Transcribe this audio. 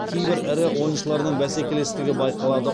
кейбір ірі ойыншыларының бәсекелестігі байқалады